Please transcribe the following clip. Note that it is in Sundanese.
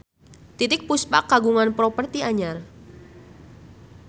Titiek Puspa kagungan properti anyar